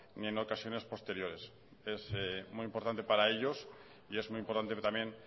ni en ocasiones posteriores es muy importante para ellos y es muy importante también